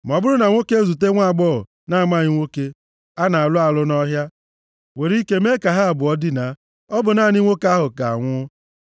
Ma ọ bụrụ na nwoke ezute nwaagbọghọ na-amaghị nwoke a na-alụ alụ nʼọhịa, were ike mee ka ha abụọ dina, ọ bụ naanị nwoke ahụ ga-anwụ.